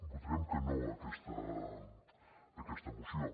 votarem que no a aquesta moció